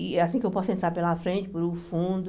E é assim que eu posso entrar pela frente, pelo fundo.